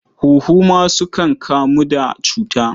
Huhu ma sukan kamu da cuta.